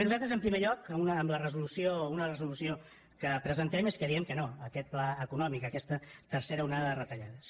nosaltres en primer lloc en una resolució que presentem diem que no a aquest pla econòmic a aquesta tercera onada de retallades